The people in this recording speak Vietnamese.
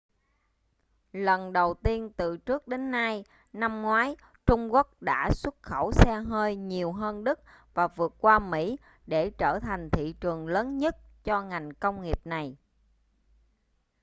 lần đầu tiên từ trước đến nay năm ngoái trung quốc đã xuất khẩu xe hơi nhiều hơn đức và vượt qua mỹ để trở thành thị trường lớn nhất cho ngành công nghiệp này